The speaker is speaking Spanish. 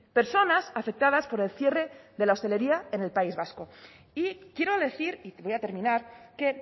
personas afectadas por el cierre de la hostelería en el país vasco y quiero decir y voy a terminar que